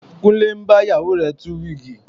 Kúnlé ń bá ìyàwó rẹ̀ tú wíìgì